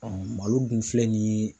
malo dun filɛ nin ye